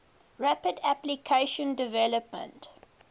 rapid application development